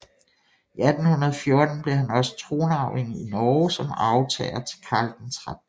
I 1814 blev han også tronarving i Norge som arvtager til Karl 13